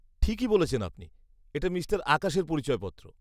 -ঠিকই বলছেন আপনি, এটা মিস্টার আকাশের পরিচয়পত্র।